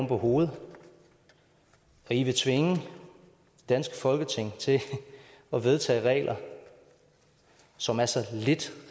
på hovedet og i vil tvinge det danske folketing til at vedtage regler som er så lidt